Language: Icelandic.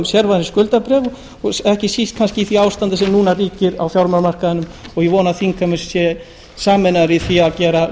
sér skuldabréf og ekki síst kannski í því ásandi sem núna ríkir á fjármálamarkaðnum og ég vona að þingheimur sé sameinaður í því að gera